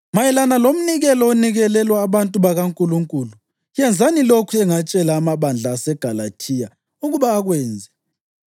Mayelana lomnikelo onikelelwa abantu bakaNkulunkulu: Yenzani lokhu engatshela amabandla aseGalathiya ukuba akwenze.